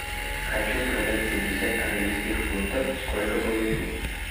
хочу продать пятьдесят английских фунтов сколько получу